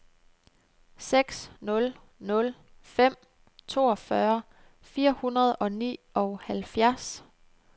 seks nul nul fem toogfyrre fire hundrede og nioghalvfjerds